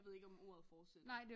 Jeg ved ikke om ordet fortsætter